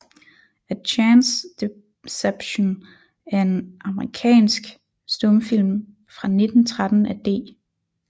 A Chance Deception er en amerikansk stumfilm fra 1913 af D